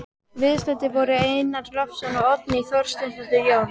Viðstaddir voru Einar Loftsson og Oddný Þorsteinsdóttir, Jón